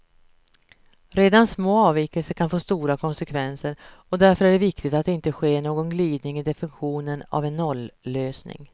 Redan små avvikelser kan få stora konsekvenser, och därför är det viktigt att det inte sker någon glidning i definitionen av en nollösning.